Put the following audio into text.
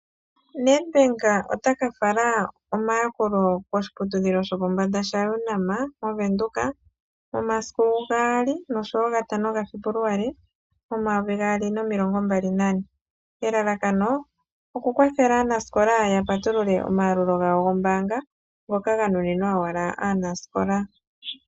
Nedbank otaka fala omayakulo koshiputudhilo shopombanda shaUNAM mOvenduka, momasiku gaali noshowoo gatano gaFebuluali momayovi gaali nomilongo mbali nane. Elalakano okukwathela aanasikola yapatulule omayalulo gawo gombaanga ngoka ganunimwa owala aanasikola.